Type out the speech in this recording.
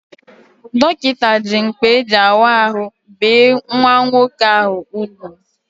Dọkịta ji mkpa eji awa ahụ bee nwa nwoke ahụ ugwu